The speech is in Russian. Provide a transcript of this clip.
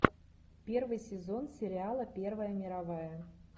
первый сезон сериала первая мировая